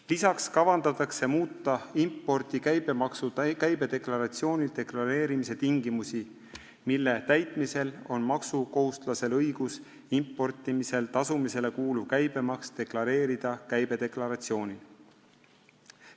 Veel kavandatakse muuta impordi käibemaksu käibedeklaratsioonil deklareerimise tingimusi, mille täitmisel on maksukohustuslasel õigus importimisel tasutav käibemaks deklareerida käibedeklaratsioonil.